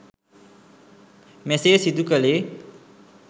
මෙසේ සිදු කළේ